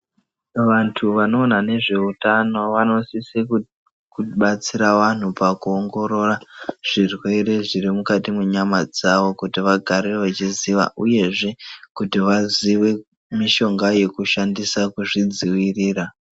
Vantu vanoona ngezveutano vanosise kubatsira vantu pakuongorora zvirwere zviri mukati mwenyama dzavo kuti vagare vachiziva uyezve kuti vazive mishonga yekushandisa kuti vazvidzivirira.